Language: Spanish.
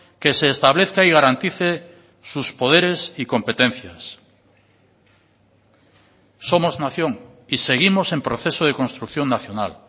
que se establezca y garantice sus poderes y competencias somos nación y seguimos en proceso de construcción nacional